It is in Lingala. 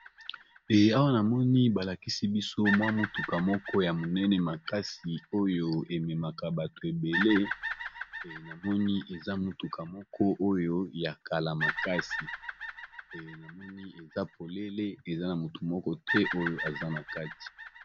Eh awa namoni ba lakisi biso mwa motuka moko ya monene makasi oyo ememaka bato ebele, namoni eza motuka moko oyo ya kala makasi namoni eza polele eza na motu moko te oyo aza na kati.